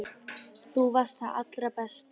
Þú varst það allra besta.